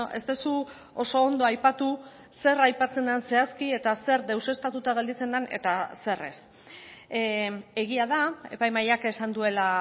ez duzu oso ondo aipatu zer aipatzen den zehazki eta zer deuseztatuta gelditzen den eta zer ez egia da epai mahaiak esan duela